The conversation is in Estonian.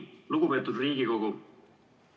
Lugupeetud Riigikogu!